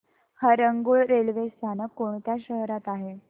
Harangul railway स्थानक कोणत्या शहरात आहे